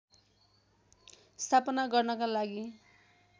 स्थापना गर्नका लागि